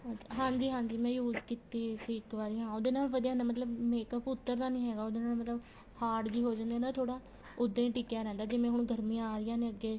ਹਾਂਜੀ ਹਾਂਜੀ ਮੈਂ use ਕੀਤੀ ਸੀ ਇੱਕ ਵਾਰ ਹਾਂ ਉਹਦੇ ਨਾਲ ਵਧੀਆ ਹੁੰਦਾ ਮਤਲਬ makeup ਉੱਤਰ ਦਾ ਨਹੀਂ ਹੈਗਾ ਉਹਦੇ ਨਾਲ ਮਤਲਬ hard ਜੀ ਹੋ ਜਾਂਦੀ ਏ ਥੋੜਾ ਉਹਦਾ ਹੀ ਟਿਕਿਆ ਰਹਿੰਦਾ ਜਿਵੇਂ ਹੁਣ ਗਰਮੀਆਂ ਆ ਰਹੀਆਂ ਅੱਗੇ